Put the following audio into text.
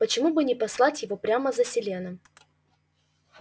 почему бы не послать его прямо за селеном